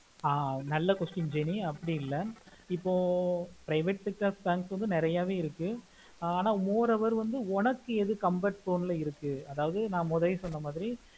ஆஹ் நல்ல question jeni அப்புடியில்ல இப்போ private sector bank வந்து நெறியவே இருக்கு ஆஹ் அனா more over வந்து உனக்கு எது comfort zone ல இருக்கு அதாவது ந முதலாய சொன்ன மாதிரி